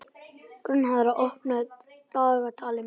Gunnharða, opnaðu dagatalið mitt.